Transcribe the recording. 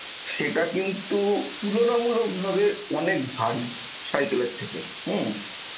সেটা কিন্তু তুলনামূলকভাবে অনেক ভারী cycle এর থেকে হম